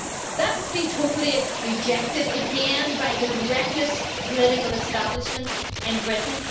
That has been totally rejected again by the reckless political establishment in Britain.